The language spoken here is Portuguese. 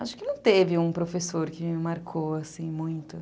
Acho que não teve um professor que me marcou, assim, muito.